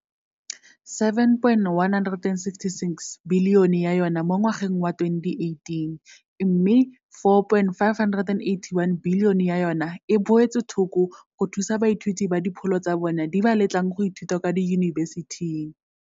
R7.166 bilione ya yona mo ngwageng wa 2018 mme R4.581 bilione ya yona e beetswe thoko go thusa baithuti ba dipholo tsa bona di ba letlang go ithuta kwa diyunibesithing,